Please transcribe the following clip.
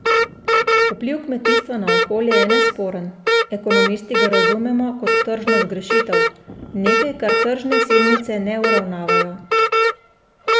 Vpliv kmetijstva na okolje je nesporen, ekonomisti ga razumemo kot tržno zgrešitev, nekaj, kar tržne silnice ne uravnavajo.